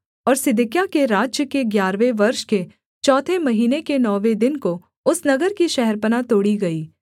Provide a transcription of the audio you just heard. और सिदकिय्याह के राज्य के ग्यारहवें वर्ष के चौथे महीने के नौवें दिन को उस नगर की शहरपनाह तोड़ी गई